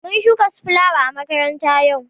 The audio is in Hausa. Mun shuka su filawa à makaranta yau.